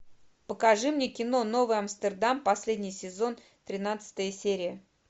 покажи мне кино новый амстердам последний сезон тринадцатая серия